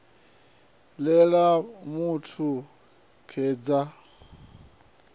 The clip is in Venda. ḽe ḽa mu kavha tikedzani